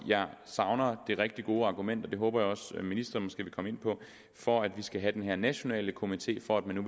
jeg savner det rigtig gode argument det håber jeg også at ministeren måske vil komme ind på for at vi skal have den her nationale komité for at man nu